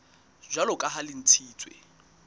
jwalo ka ha le ntshitswe